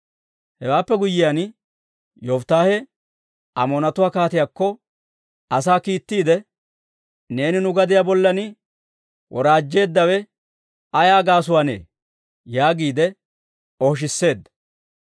Hewaappe guyyiyaan, Yofittaahe Amoonatuwaa kaatiyaakko asaa kiittiide, «Neeni nu gadiyaa bollan woraajjeeddawe ayaa gaasuwaannee?» yaagiide ooshisseedda.